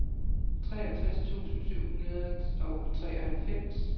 treogtres tusind syv hundrede og treoghalvfems